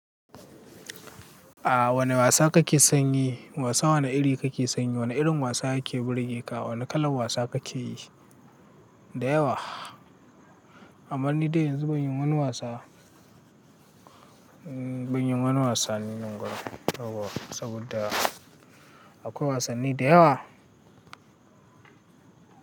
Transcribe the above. A wane wasa kake sanyi? Wasa wane iri kake sanyi? Wane irin wasa yake burge ka? Wane kalar wasa kake yi? Da yawa. Amma ni da yanzu ban yi wani wasa, ban yi wani wasanni unguwa saboda akwai wasanni da yawa.